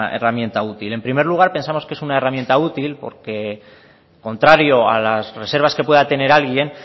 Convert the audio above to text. herramienta útil en primer lugar pensamos que es una herramienta útil porque contrario a las reservas que pueda tener alguien